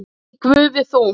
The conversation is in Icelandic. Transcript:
Í Guði þú.